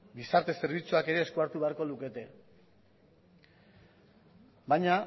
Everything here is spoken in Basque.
gizarte zerbitzuak ere eskuartu beharko lukete baina